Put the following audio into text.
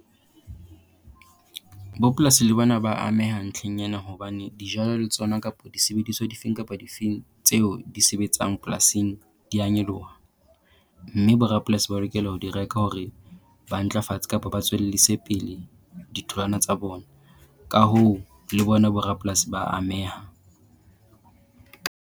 Bopolasi le bona ba ameha ntlheng ena hobane dijalo le tsona kapo disebediswa difeng kapa difeng tseo di sebetsang polasing dia nyoloha. Mme bo rapolasi ba lokela ho di reka hore ba ntlafats kapa ba tswellise pele ditholwana tsa bona. Ka hoo, le bona bo rapolasi ba ameha.